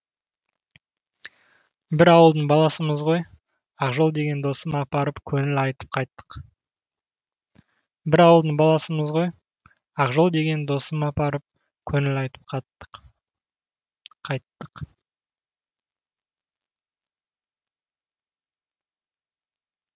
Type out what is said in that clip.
бір ауылдың баласымыз ғой ақжол деген досым апарып көңіл айтып қайттық